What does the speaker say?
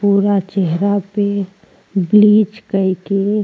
पूरा चेहरा पे ब्लिच कईके --